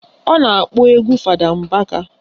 Ọ na-akpọ egwu Fada Mbaka